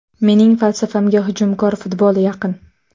Mening falsafamga hujumkor futbol yaqin.